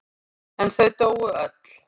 En þau dóu öll.